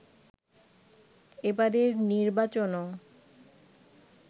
এবারের নির্বাচনও